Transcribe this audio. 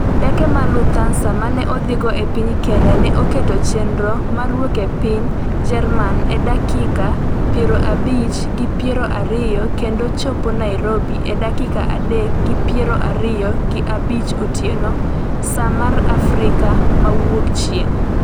Ndeke mar Lufthansa mane odhigo e piny Kenya ne oketo chenro mar wuok e piny Jerman e dakika piero abich gi piero ariyo kendo chopo Nairobi e dakika adek gi piero ariyo gi abich otieno, saa mar Afrika ma Wuokchieng'.